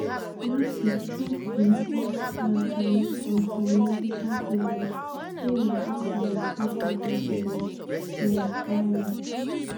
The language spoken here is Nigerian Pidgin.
last week trump bin pause planned tariffs on some mexican products say na "out of respect for president sheinbaum".